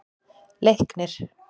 Leiknir